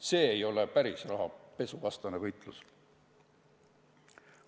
See ei ole päris rahapesuvastane võitlus.